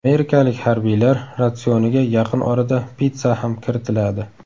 Amerikalik harbiylar ratsioniga yaqin orada pitssa ham kiritiladi.